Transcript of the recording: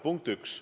Punkt 1.